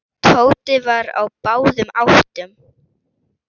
Tóti var á báðum áttum.